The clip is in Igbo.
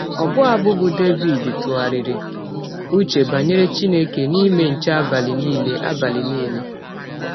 Ọbụ abụ bụ́ Devid ‘ tụgharịrị ụche banyere Chineke n’ime nche abalị nile abalị nile. ’